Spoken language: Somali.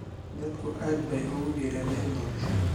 Dadku aad bay ugu dhiiradeen doorashada.